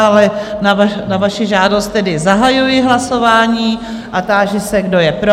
Ale na vaši žádost tedy zahajuji hlasování a táži se, kdo je pro?